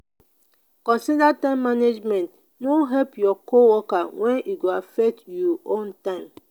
consider time management no help your co-worker when e go affect you own time